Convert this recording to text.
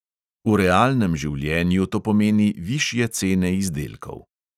V realnem življenju to pomeni višje cene izdelkov.